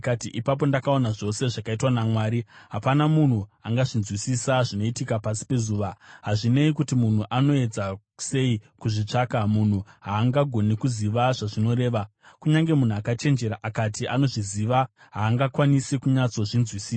ipapo ndakaona zvose zvakaitwa naMwari. Hapana munhu angazvinzwisisa zvinoitika pasi pezuva. Hazvinei kuti munhu anoedza sei kuzvitsvaka, munhu haangagoni kuziva zvazvinoreva. Kunyange munhu akachenjera akati anozviziva haangakwanisi kunyatsozvinzwisisa.